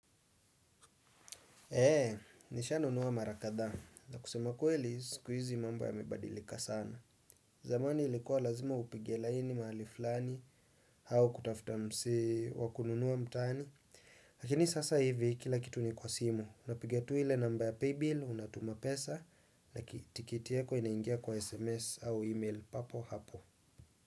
Eee, nishanunua mara kadhaa. Na kusema kweli, siku izi mambo yamebadilika sana. Zamani ilikuwa lazima upige laini mahali flani hau kutafuta msee wa kununua mtaani. Lakini sasa hivi, kila kitu ni kwa simu. Unapiga tu ile namba ya paybill, unatuma pesa, na kitiketi yako inaingia kwa SMS au email papo hapo.